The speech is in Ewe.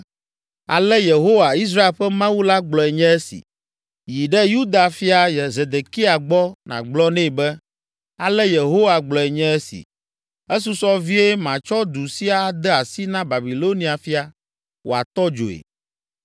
“Ale Yehowa, Israel ƒe Mawu la gblɔe nye esi: Yi ɖe Yuda fia Zedekia gbɔ nàgblɔ nɛ be, ‘Ale Yehowa gblɔe nye esi: Esusɔ vie matsɔ du sia ade asi na Babilonia fia, wòatɔ dzoe.